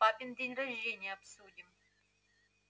папин день рождения обсудим